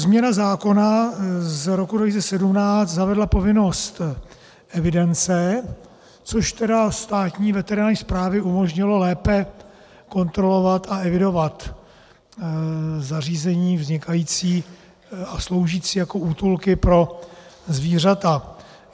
Změna zákona z roku 2017 zavedla povinnost evidence, což tedy Státní veterinární správě umožnilo lépe kontrolovat a evidovat zařízení vznikající a sloužící jako útulky pro zvířata.